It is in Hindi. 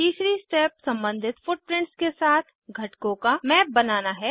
तीसरी स्टेप सम्बंधित फुटप्रिंट्स के साथ घटकों का मैप बनाना है